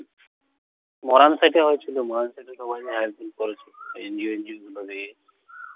মরাণ সাইটে হয়েছিলো মরাণ সাইটে সবাই মিলে আয়োজন করেছিলো। NGO NGO গুলো গিয়ে।